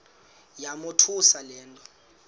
yamothusa le nto